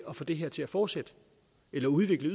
at få det her til at fortsætte eller udvikle